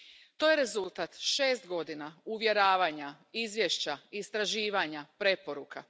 To je rezultat šest godina uvjeravanja, izvješća, istraživanja, preporuka.